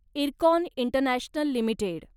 IRCON international limited